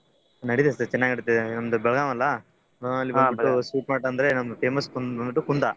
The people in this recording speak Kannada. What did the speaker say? ನಡಿತೇತ್ sir ಚನಾಗ್ ನಡೀತಾ ಇದೆ ನಮ್ದ ಬೆಳಗಾಂ ಅಲ್ವಾ ಅಂದ್ರೆ famous ಬಂದ್ಬಿಟ್ಟು ಕುಂದಾ.